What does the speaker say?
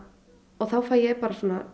þá fæ ég bara